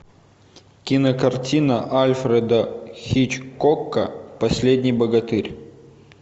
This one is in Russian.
кинокартина альфреда хичкока последний богатырь